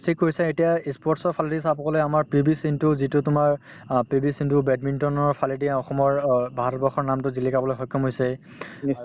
ঠিক কৈছা এতিয়া ই sports ৰ ফালেদি চাব গলে আমাৰ পি ভি সিন্ধু যিটো তোমাৰ অ পি ভি সিন্ধু badminton ৰ ফালেদি অসমৰ অ ভাৰতবৰ্ষৰ নামটো জিলিকাবলৈ সক্ষম হৈছে